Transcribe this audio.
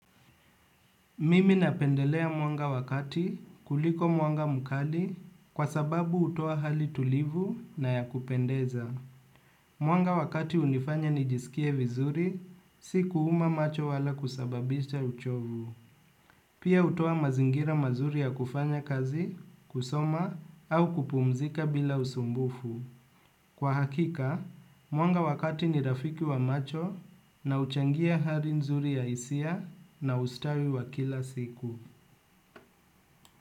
Mimi napendelea mwanga wakati kuliko mwanga mkali kwa sababu hutoa hali tulivu na ya kupendeza. Mwanga wakati hunifanya nijisikie vizuri, si kuuma macho wala kusababisha uchovu. Pia utoa mazingira mazuri ya kufanya kazi, kusoma, au kupumzika bila usumbufu. Kwa hakika, mwanga wakati ni rafiki wa macho na huchangia hali nzuri ya hisia na ustawi wa kila siku.